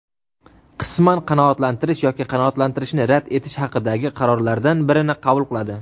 qisman qanoatlantirish yoki qanoatlantirishni rad etish haqidagi qarorlardan birini qabul qiladi.